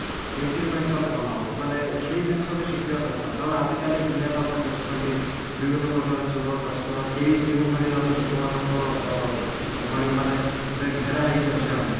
implement କଲେ ଭଲ ହବ ମାନେ ସେଇ ଜିନିଷ ବି ଶିଖିବା ଦରକାର କାରଣ ଆଜିକାଲି ଦୁନିଆତ ଆପଣ ଦେଖୁଛନ୍ତି ବିଭିନ୍ନ ପ୍ରକାର ଚୋର ଟସ୍କର କେଉଁ କେଉଁ ଭଳି ଭାବେ ଲୋକମାନଙ୍କ ଅ ଭଳି ମାନେ ଘେରା ହେଇକି ଅଛେ ଆମେ